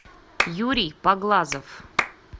юрий поглазов